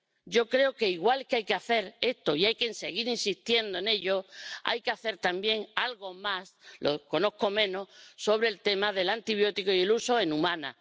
Yo creo que, igual que hay que hacer esto y hay que seguir insistiendo en ello, hay que hacer también algo más —lo conozco menos— sobre el tema del antibiótico y su uso en humanos.